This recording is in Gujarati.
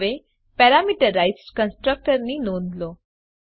હવે પેરામીટરાઇઝ્ડ કન્સ્ટ્રક્ટર ની નોંધ લો